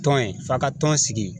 Tɔn ye f'a ka tɔn sigi